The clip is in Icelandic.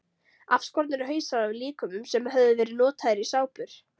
Afskornir hausar af líkömum sem höfðu verið notaðir í sápur.